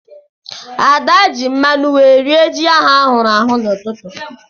Ada ji mmanu wee rie ji ahụ ahụrụ ahụ n'ụtụtụ.